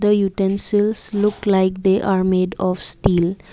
the utilities look like they are made of steel.